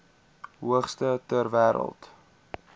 hoogste ter wêreld